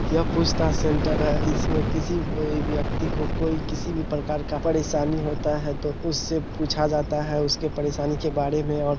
यह पूछताछ सेंटर है इसमे किसी व्यक्ति को कोई किसी भी प्रकार का परेशानी होता है तो उससे पूछा जाता है उसके परेशानी के बाड़े में और --